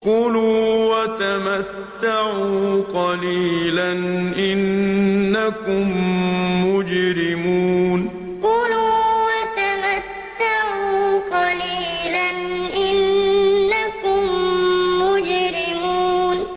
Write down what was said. كُلُوا وَتَمَتَّعُوا قَلِيلًا إِنَّكُم مُّجْرِمُونَ كُلُوا وَتَمَتَّعُوا قَلِيلًا إِنَّكُم مُّجْرِمُونَ